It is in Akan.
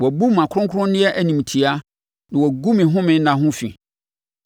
Wɔabu mʼakronkronneɛ animtiaa na woagu me home nna ho fi.